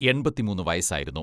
എൺപത്തിമൂന്ന് വയസായിരുന്നു.